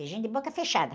Beijinho de boca fechada.